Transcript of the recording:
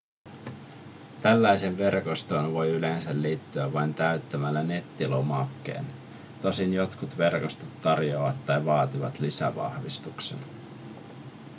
tällaiseen verkostoon voi yleensä liittyä vain täyttämällä nettilomakkeen tosin jotkut verkostot tarjoavat tai vaativat lisävahvistuksen